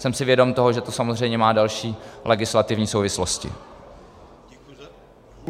Jsem si vědom toho, že to samozřejmě má další legislativní souvislosti.